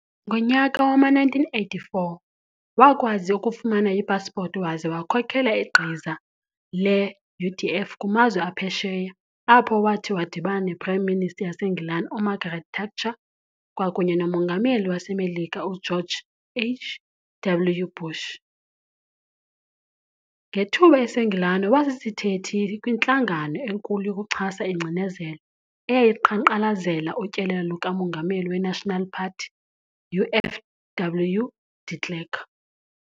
Ngomnyaka wama-1984 wakwazi ukufumana ipaspoti waze wakhokela igqiza le-UDF kumazwe aphesheya apho wathi wadibana nePrime Minister yaseNgilane uMargaret Thatcher kwakunye noMongameli waseMelika uGeorge H.W. Bush. Ngethuba eseNgilane waba sisithethi kwintlangano enkulu yokuchasa ingcinezelo, eyayiqhankqalezela utyelelo lukamongameli we-National Party, u-FW De Klerk.